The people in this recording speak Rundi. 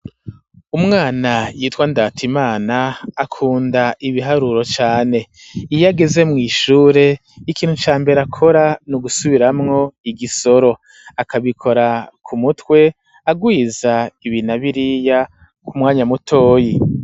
Umwana yitwa Ndatimana akunda ibiharuro cane, iyo ageze mw'ishure ikintu ca mbere akora, ni ugusubiramwo igisoro, akabikora ku mutwe agwiza ibi na biriya ku mwanya mutoyi.